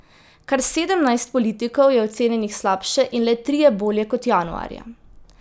Kar sedemnajst politikov je ocenjenih slabše in le trije bolje kot januarja.